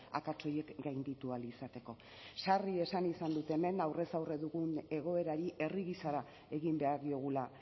akats horiek gainditu ahal izateko sarri esan izan dut hemen aurrez aurre dugun egoerari herri gisara egin behar diogula